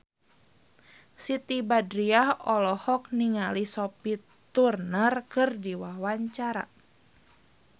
Siti Badriah olohok ningali Sophie Turner keur diwawancara